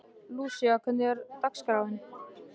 Lúísa, hvernig er dagskráin?